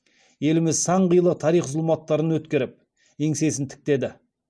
еліміз сан қилы тарих зұлматтарын өткеріп еңсесін тіктеді